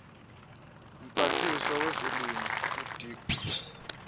mphathiswa wezolimo udirk